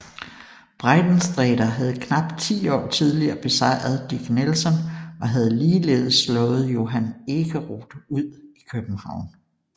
Breitensträter havde knap ti år tidligere besejret Dick Nelson og havde ligeledes slået Johan Ekeroth ud i København